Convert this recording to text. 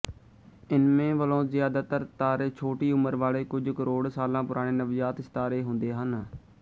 ਇਨਮੇ ਵਲੋਂ ਜਿਆਦਾਤਰ ਤਾਰੇ ਛੋਟੀ ਉਮਰ ਵਾਲੇ ਕੁੱਝ ਕਰੋੜ ਸਾਲਾਂ ਪੁਰਾਣੇ ਨਵਜਾਤ ਸਿਤਾਰੇ ਹੁੰਦੇ ਹਨ